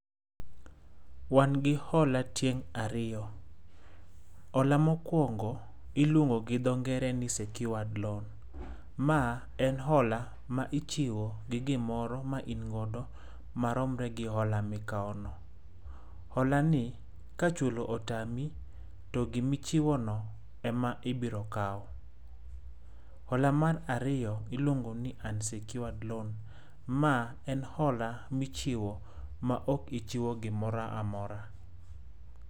Wan gi hola tieng' ariyo. Hola mokuongo iluongo gi dho ngere ni secured loan. Ma en hola ma ichiwo gi gimoro ma in godo maromre gi hola ma ikawono. Holani ka chulo otami to gima icbhiwono ema ibiro kaw. Hola mar ariyo iluongo ni unsecured loan. Ma en hola michiwo ma ok ichiwo gimoro amora.